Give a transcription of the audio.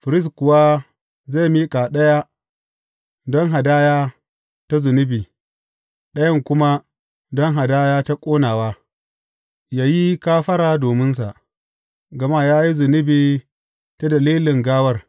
Firist kuwa zai miƙa ɗaya don hadaya ta zunubi, ɗayan kuma don hadaya ta ƙonawa, yă yi kafara dominsa, gama ya yi zunubi ta dalilin gawar.